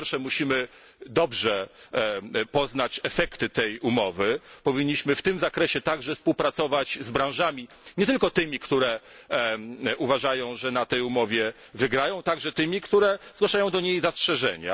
Po pierwsze, musimy dobrze poznać efekty tej umowy, powinniśmy w tym zakresie także współpracować z branżami, nie tylko tymi, które uważają, że na tej umowie wygrają, także tymi, które zgłaszają do niej zastrzeżenia.